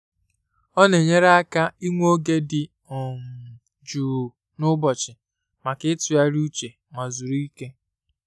Ọ na-enyèrị àkà ịnwe ògè di um jụụ n’ụbọchị maka itùgharịa uche na zuru ike